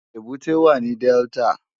Ébùté wá ni Dèltá